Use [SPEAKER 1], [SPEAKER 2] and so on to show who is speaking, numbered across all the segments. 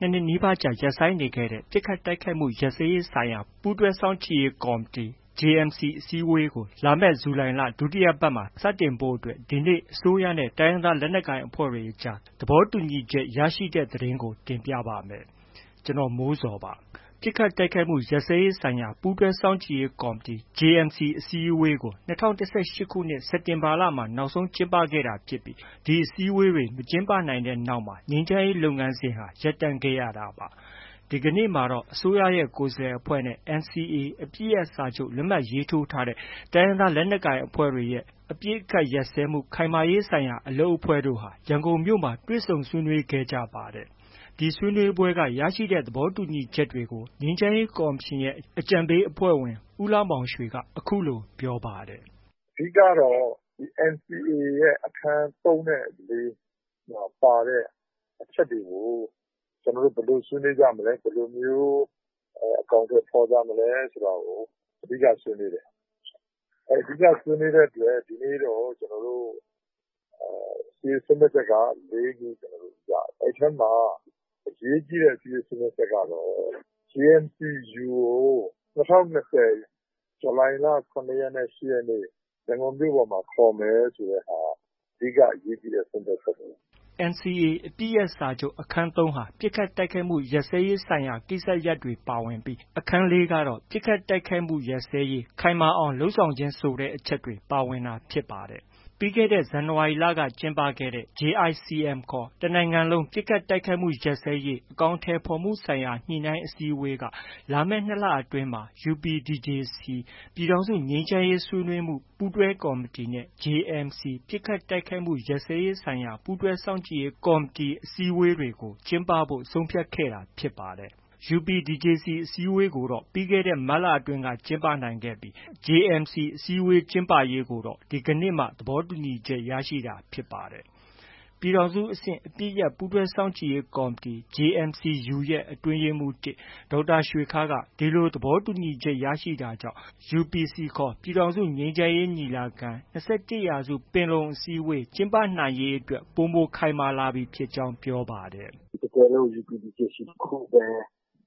[SPEAKER 1] နှစ် နှစ်နီးပါးကြား ရပ်ဆိုင်းနေခဲ့တဲ့ ပစ်ခတ်တိုက်ခိုက်မှု ရပ်စဲရေးဆိုင်ရာ ပူးတွဲစောင့်ကြည့်ရေး ကော်မတီအစည်းအဝေး JMC ကို လာမယ့် ဇူလိုင်လ ဒုတိယပတ်မှာ စတင်ဖို့အတွက် ဒီနေ့ အစိုးရနဲ့ တိုင်းရင်းသားလက်နက်ကိုင်တွေအကြား သဘောတူညီချက် ရရှိတဲ့ သတင်းကို တင်ပြပါမယ်။ ဗွီအိုအေမြန်မာပိုင်းသတင်းထောက် ကိုမိုးဇော်က တင်ပြပေးပါမယ်။ ပစ်ခတ်တိုက်ခိုက်မှု ရပ်စဲရေးဆိုင်ရာ ပူးတွဲစောင့်ကြည့်ရေး ကော်မတီအစည်းအဝေး JMC အစည်းအဝေးကို ၂၀၁၈ ခုနှစ် စက်တင်လမှာ နောက်ဆုံးကျင်းပခဲ့တာဖြစ်ပြီး ဒီအစည်းအဝေးတွေ မကျင်းပနိုင်ခဲ့တဲ့နောက်မှာ ငြိမ်းချမ်းရေးလုပ်ငန်းစဉ်ဟာ ရပ်တန့်ခဲ့ရတာပါ။ ဒီကနေ့မှာတော့ အစိုးရရဲ့ ကိုယ်စားလှယ်အဖွဲ့နဲ့ NCA အပစ်ရပ်စာချုပ်လက်မှတ်ရေးထိုးထားတဲ့ တိုင်းရင်းသား လက်နက်ကိုင်အဖွဲ့တွေရဲ့ အပစ်အခတ်ရပ်စဲမှု ခိုင်မာရေးဆိုင်ရာ အလုပ်အဖွဲ့တို့ ရန်ကုန်မြို့မှာ တွေ့ဆုံဆွေးနွေးခဲ့ကြပြီး ရရှိတဲ့ သဘောတူညီချက်တွေကို ငြိမ်းချမ်းရေးကော်မရှင်ရဲ့ အကြံပေးအဖွဲ့ဝင် ဦးလှမောင်ရွှေက ပြောပါတယ်
[SPEAKER 2] ။ “အဓိကကတော့ NCA ရဲ့ အခန်း ၃ နဲ့ ၄မှာ ပါတဲ့ အချက်တွေကို ဘယ်လိုဆွေးနွေးကြမလဲ၊ ဘယ်လိုမျိုး အကောင်အထည်ဖော်ကြမလဲဆိုတာကို အဓိက ဆွေးနွေးတယ်။ အဓိက ဆွေးနွေးတဲ့အတွက်ကြောင့် ဒီနေ့က အစည်းအဝေး ဆုံးဖြတ်ချက် ၄ ခုရတယ်။ ဒီထဲမှာ အရေးကြီးတဲ့ အစည်းအဝေးဆုံးဖြတ်ချက်ကတော့ JMC_ U ၂၀၂၀ ဇူလိုင်လ ၇ ရက်နဲ့ ၈ရက်နေ့မှာ ရန်ကုန်မြို့ပေါ်မှာ ခေါ်မယ်ဆိုတဲ့ဟာ အဓိက အရေးကြီးတဲ့ ဆုံးဖြတ်ချက်ပဲ။
[SPEAKER 1] ” NCA အပစ်ရပ်စာချုပ် အခန်း ၃ ဟာ ပစ်ခတ်တိုက်ခိုက်မှု ရပ်စဲရေးဆိုင်ရာ ကိစ္စရပ်တွေ ပါဝင်ပြီး အခန်း ၄ ကတော့ ပစ်ခတ်တိုက်ခိုက်မှု ခိုင်မာအောင်လုပ်ဆောင်ခြင်းဆိုတဲ့အချက်တွေ ပါဝင်တာဖြစ်ပါတယ်။ ပြီးခဲ့တဲ့ ဇန်နဝါရီလက ကျင်းပခဲ့တဲ့ JICM ခေါ် တစ်နိုင်ငံလုံး ပစ်ခိုက်တိုက်ခိုက်မှုရပ်စဲရေး အကောင်အထည်ဖော်မှုဆိုင်ရာ ညှိနှိုင်းအစည်းအဝေးက လာမယ့် ၂ လအတွင်းမှာ UPDJC ပြည်ထောင်စုငြိမ်းချမ်းရေးဆွေးနွေးမှု ပူးတွဲကော်မတီနဲ့ JMC ပစ်ခတ်တိုက်ခိုက်မှုရပ်စဲရေးဆိုင်ရာ ပူးတွဲစောင့်ကြည့်ရေးကော်မတီ အစည်းအဝေးတွေ ကျင်းပဖို့ ဆုံးဖြတ်ခဲ့တာဖြစ်ပါတယ်။ UPDJC အစည်းအဝေးကိုတော့ ပြီးခဲ့တဲ့ မတ်အတွင်းက ကျင်းပနိုင်ခဲ့ပြီး JMC အစည်းအဝေးကျင်းပရေးကိုတော့ ဒီကနေ့မှာ သဘောတူညီချက် ရခဲ့တာဖြစ်ပါတယ်။ ပြည်ထောင်စုအဆင့် အပစ်ရပ်ပူးတွဲစောင့်ကြည့်ရေးကော်မတီ JMC- U ရဲ့ အတွင်းရေးမှူး ၁ ဒေါက်တာ ရွှေခါးကဒီလိုသဘောတူညီနိုင်ခဲ့တာကြောင့် ပြည်ထောင်စု ငြိမ်းချမ်းရေးညီလာခံ UPC - ၂၁ရာစု ပင်လုံအစည်းအဝေး ကျင်းပနိုင်ရေးအတွက် ပိုမို ခိုင်မာလာပြီဖြစ်ကြောင်း ပြောပါတယ်။
[SPEAKER 2] “တကယ်လို့ UPDJC တစ်ခုပဲ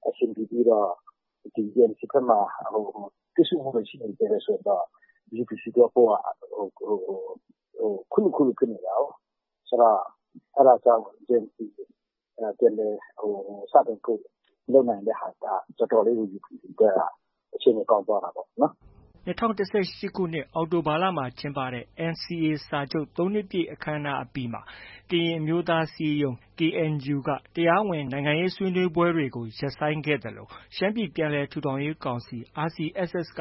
[SPEAKER 2] အဆင်ပြေပြီးတော့ JMC ဘက်မှာ တစ်ဆို့မှုတွေ ရှိနေမယ်ဆိုရင်တော့ UPC သွားဖို့က ခိုးလိုးခုလု ဖြစ်နေတာကိုး။ ဆိုတော့ အဲဒါကြောင့် JMC ပြန်လည်စတင်ဖို့ လုပ်နိုင်တဲ့ဟာက တော်တော်လေးကို UPC အတွက်က အခြေအနေ ကောင်းသွားတာပေါ့
[SPEAKER 1] နော်။” ၂၀၁၈ ခုနှစ် အောက်တိုဘာလမှာ ကျင်းပတဲ့ NCA စာချုပ် ၃ နှစ်ပြည့်အခမ်းအနား အပြီးမှာ ကရင်အမျိုးသားအစည်းအရုံး KNU က တရားဝင်နိုင်ငံရေးဆွေးနွေးပွဲတွေကို ရပ်ဆိုင်းခဲ့သလို ရှမ်းပြည်ပြန်လည်ထူထောင်ရေးကောင်စီ RCSS က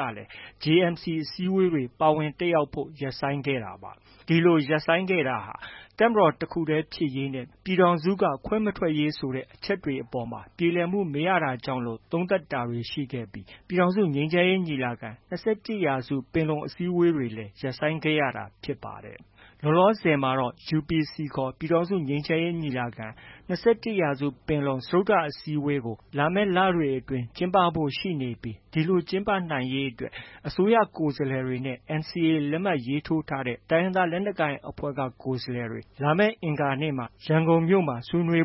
[SPEAKER 1] JMC အစည်းအဝေးတွေ ပါဝင်တက်ရောက်ဖို့ ရပ်ဆိုင်းခဲ့ပါတယ်။ ဒီလို ရပ်ဆိုင်းခဲ့တာဟာ တပ်မတော်တစ်ခုတည်း ဖြစ်ရေးနဲ့ ပြည်ထောင်စုက ခွဲမထွက်ရေးဆိုတဲ့ အချက်တွေအပေါ်မှာပြေလည်မှု မရတာကြောင့်လို့ သုံးသပ်တာတွေ ရှိခဲ့ပြီး ပြည်ထောင်စုငြိမ်းချမ်းရေးညီလာခံ- ၂၁ ရာစု ပင်လုံအစည်းအဝေးတွေလည်း ရပ်ဆိုင်းခဲ့ရတာဖြစ်ပါတယ်။ လောလောဆယ်မှာတော့ UPC ခေါ် ပြည်ထောင်စုငြိမ်းချမ်းရေးညီလာခံ- ၂၁ ရာစု ပင်လုံ စတုတ္တအစည်းအဝေးကို လာမယ့်လတွေအတွင်း ကျင်းပဖို့ ရှိနေပြီး ဒီလို ကျင်းပနိုင်ဖို့အတွက် အစိုးရကိုယ်စားလှယ်အဖွဲ့နဲ့ NCA လက်မှတ်ထိုး တိုင်းရင်းသားလက်နက်ကိုင် ကိုယ်စားလှယ်အဖွဲ့တွေ အင်္ဂါနေ့မှာ ရန်ကုန်မှာ ဆွေးနွေး